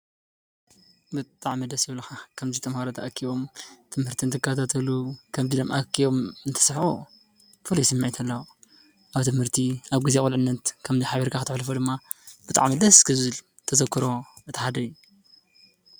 ብጣዕሚ! ዴስ ይብሉካ ከምዚ ተማሃሮ ተኣኪቦም ትምህርቲ እንዳተከታተሉን እንትስሕቁን ፉሉይ ስሚዒትት ኣለዎ። ኣብ ትምህርቲ ኣብ ግዜ ዑልዕነት ከምዚ ኢልካ ክትሕልፎ ድማ ብጣዕሚ እዩ ደስ ዝብል ተዘክሮ እቲ ሓደ እዩ።